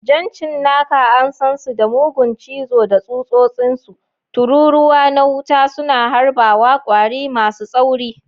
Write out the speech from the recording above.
Jan cinnaka, an san su da mugun cizo da tsutsotsinsu, tururuwa na wuta suna harbawa, kwari masu tsauri.